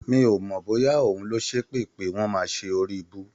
Mi ò mọ̀ bóyá òun ló ṣépè pé wọ́n máa ṣe oríibú.